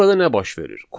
Burada nə baş verir?